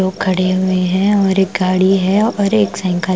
खड़ी हुई है और एक गाड़ी है और एक साइकल --